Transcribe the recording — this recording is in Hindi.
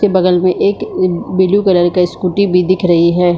के बगल में एक ब्लू कलर का स्कूटी भी दिख रही है।